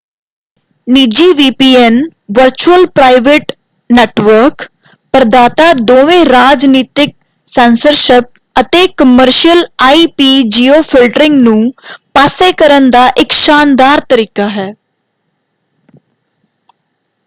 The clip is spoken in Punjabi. ਨਿੱਜੀ ਵੀਪੀਐਨ ਵਰਚੁਅਲ ਪ੍ਰਾਈਵੇਟ ਨੈਟਵਰਕ ਪ੍ਰਦਾਤਾ ਦੋਵੇ ਰਾਜਨੀਤਕ ਸੈਂਸਰਸ਼ਿਪ ਅਤੇ ਕਮਰਸ਼ੀਅਲ ਆਈਪੀ-ਜਿਓਫਿਲਟਰਿੰਗ ਨੂੰ ਪਾਸੇ ਕਰਨ ਦਾ ਇਕ ਸ਼ਾਨਦਾਰ ਤਰੀਕਾ ਹੈ।